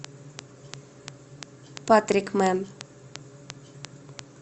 патрикмэн